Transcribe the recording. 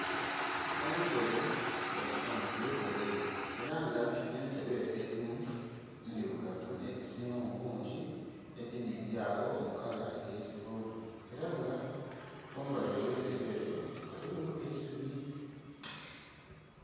Entebe badhipanze mulainhi era nga entebe edho edhimu ndhilugavu nhedhisingamu bungi edhindhi dhilyagho mukala eye kivuvu era nga kumbali ogh'entebe dhinho ghaligho eisubi.